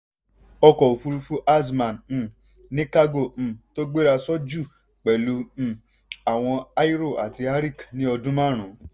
ọkọ̀ òfúrufú azman um ní kágò um tó gbérasọ jù pẹ̀lú um àwọn aero àti arik ní ọdún márùn-ún.